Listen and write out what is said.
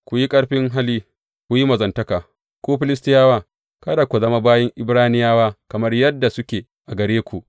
Ku yi ƙarfin hali, ku yi mazantaka, ku Filistiyawa, domin kada ku zama bayin Ibraniyawa kamar yadda suke a gare ku.